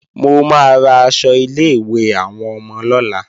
Mo máa ra aṣọ ilé-ìwé àwọn ọmọ lọ́la